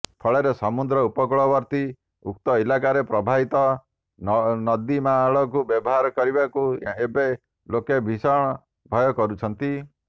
ଫଳରେ ସମୁଦ୍ର ଉପକୂଳବର୍ତ୍ତୀ ଉକ୍ତ ଇଲାକାରେ ପ୍ରବାହିତ ନଦୀନାଳକୁ ବ୍ୟବହାର କରିବାକୁ ଏବେ ଲୋକେ ଭୀଷଣ ଭୟ କରୁଛନ୍ତି